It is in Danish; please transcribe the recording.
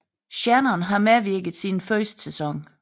Shannon har medvirket siden første sæson